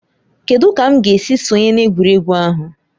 Kedụ ka m ga-esi sonye na egwuregwu ahụ?